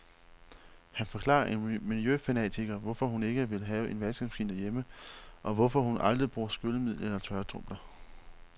Her forklarer en miljøfanatiker, hvorfor hun ikke vil have en vaskemaskine derhjemme, og hvorfor hun aldrig bruger skyllemiddel eller tørretumbler.